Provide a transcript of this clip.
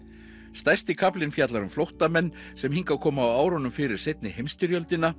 stærsti kaflinn fjallar um flóttamenn sem hingað komu á árunum fyrir seinni